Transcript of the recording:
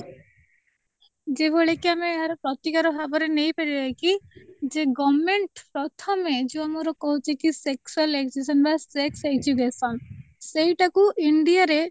ଯୋଉ ଭଳି କି ଆମେ ପ୍ରତିକାର ଭାବରେ ନେଇପାରିବା କି ଯେ ଯୋଉ government ପ୍ରଥମେ ଯୋଉ ମୋର କହୁଛି କି sexual existion ବା sex education ସେଇଟା କୁ india ରେ